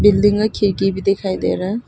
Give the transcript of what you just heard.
building और खिड़की भी दिखाई दे रहा--